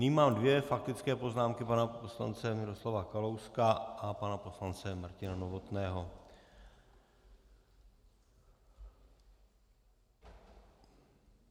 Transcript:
Nyní mám dvě faktické poznámky - pana poslance Miroslava Kalouska a pana poslance Martina Novotného.